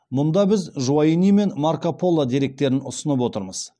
мұнда біз жуайни мен марко поло деректерін ұсынып отырмыз